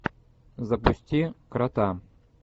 запусти крота